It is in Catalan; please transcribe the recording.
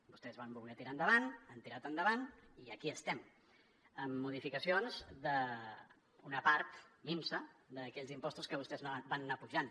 vostès van voler tirar endavant han tirat endavant i aquí estem amb modificacions d’una part minsa d’aquells impostos que vostès van anar pujant